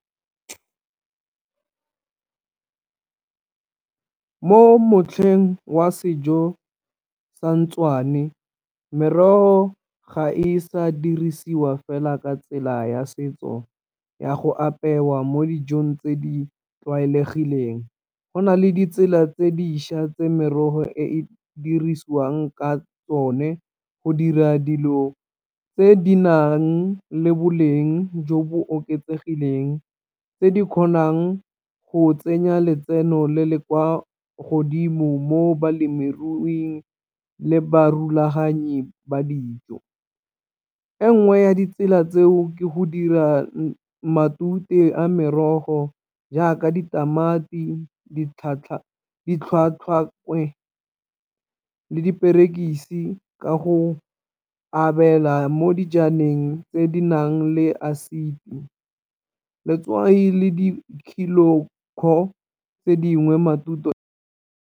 Mo motlheng wa sejo merogo ga e sa dirisiwa fela ka tsela ya setso ya go apewa mo dijong tse di tlwaelegileng, go nale ditsela tse dišwa tse merogo e e dirisiwang ka tsone go dira dilo tse di nang le boleng jo bo oketsegileng tse di kgonang go tsenya letseno le le kwa godimo mo balemiruing le ba rulaganyi ba dijo. E nngwe ya ditsela tseo ke go dira matute a merogo jaaka ditamati, , le diperekisi ka go abela mo dijaneng tse di nang le acid, letswai le di tse dingwe matute.